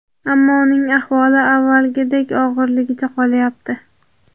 ammo uning ahvoli avvalgidek og‘irligicha qolyapti.